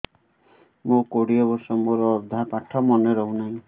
ମୋ କୋଡ଼ିଏ ବର୍ଷ ମୋର ଅଧା ପାଠ ମନେ ରହୁନାହିଁ